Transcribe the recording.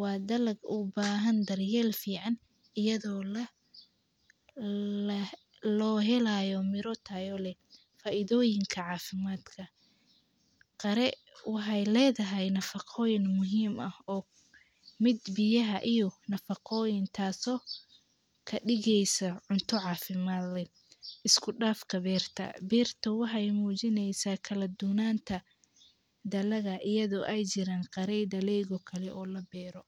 waa dalad u bahan daryeel fiican iyado lo helayo miro tayo leh, faidoyiinka cafimaadka, qiire wexee ledhahay nafaqoyiin muhiim ah o miid biyaha iyo nafaqoyiin taso kadigeyso cunto cafiimad leh, iskudafka beerta, beertaa wexee mujineysaa kaladubnata dalada iyado ee jiraan qaree daleyda kalee o laga beero.